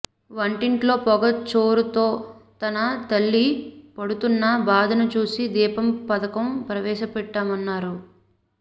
వంటింట్లో పొగచూరుతో తన తల్లి పడుతున్న బాధను చూసి దీపం పథకం ప్రవేశపెట్టామన్నారు